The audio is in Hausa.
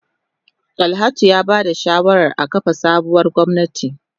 Dalhatu ya ba da shawarar a kafa sabuwar gwamnati.